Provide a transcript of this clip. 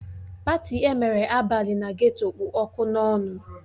Patị emere abalị na geto kpụ ọkụ n'ọnụ